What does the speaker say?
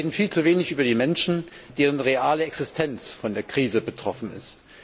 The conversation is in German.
Wir reden viel zu wenig über die Menschen, deren reale Existenz von der Krise betroffen ist.